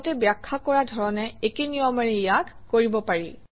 আগতে ব্যাখ্যা কৰা ধৰণে একে নিয়মেৰে ইয়াক কৰিব পাৰি